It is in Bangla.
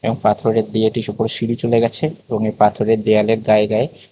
এবং পাথরের দিয়ে একটি সিঁড়ি চলে গেছে এবং এই পাথরের দেওয়ালের গায়ে গায়ে--